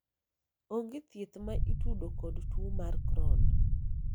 onge thieth ma itudo kod tuo mar crohn